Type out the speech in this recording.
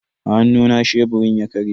A hannuna sheburin ya karye.